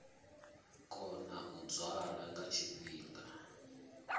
kona u dzwala nga tshifhinga